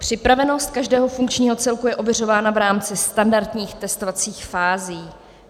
Připravenost každého funkčního celku je ověřována v rámci standardních testovacích fází.